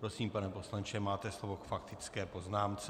Prosím, pane poslanče, máte slovo k faktické poznámce.